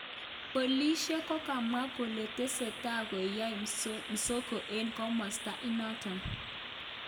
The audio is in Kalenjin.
Polishek kokamwa kole tesetai kuyae msako en komosta inaton